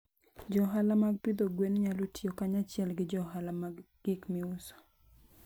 Jo ohala mag pidho gwen nyalo tiyo kanyachiel gi jo ohala mag gik miuso.